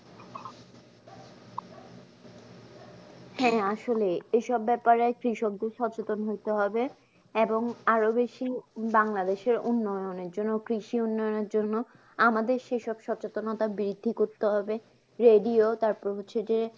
হ্যাঁ আসলে এই সব ব্যাপারে কৃষকদের সচেতন হতে হবে, এবং আরো বেশি বাংলাদেশের উন্নয়নের জন্য কৃষি উন্নয়নের জন্য আমাদের সেই সব সচেতনতা বৃদ্ধি করতে হবে, রেডিও তারপরে হচ্ছে যে